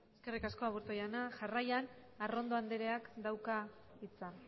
eskerrik asko aburto jauna jarraian arrondo andreak dauka hitza